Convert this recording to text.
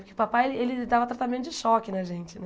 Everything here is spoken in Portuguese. Porque papai, ele dava tratamento de choque na gente, né?